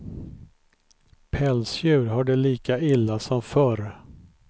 Pälsdjur har det lika illa som förr.